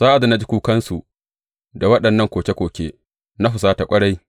Sa’ad da na ji kukansu da waɗannan koke koke, na husata ƙwarai.